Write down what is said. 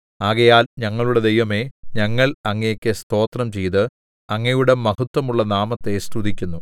ആകയാൽ ഞങ്ങളുടെ ദൈവമേ ഞങ്ങൾ അങ്ങയ്ക്ക് സ്തോത്രം ചെയ്ത് അങ്ങയുടെ മഹത്വമുള്ള നാമത്തെ സ്തുതിക്കുന്നു